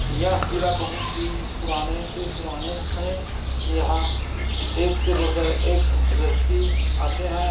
यह किला बहुत ही पुराने- से- पुराने हैं यह एक से बढ़कर एक व्यक्ति आते है।